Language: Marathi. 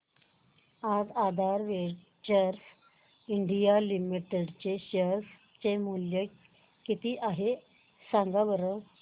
आज आधार वेंचर्स इंडिया लिमिटेड चे शेअर चे मूल्य किती आहे सांगा बरं